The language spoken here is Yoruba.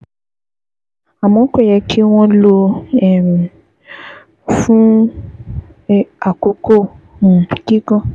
Àmọ́, kò yẹ kí wọ́n lò um ó fún àkókò um gígùn